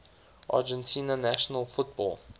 argentina national football